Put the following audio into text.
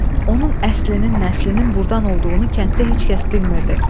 Onun əslinin nəslinin burdan olduğunu kənddə heç kəs bilmirdi.